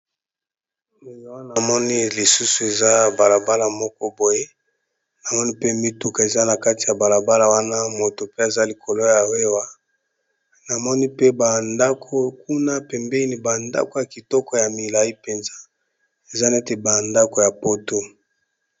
Awa namoni lisusu eza bala bala moko boye namoni pe mituka eza na kati ya bala bala wana, moto pe aza likolo ya wewa. Namoni pe ba ndako kuna pembeni ba ndako ya kitoko ya milayi mpenza, eza neti ba ndako ya poto.